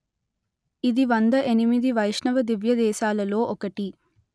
ఇది వంద ఎనిమిది వైష్ణవ దివ్యదేశాలలో ఒకటి